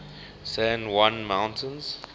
san juan mountains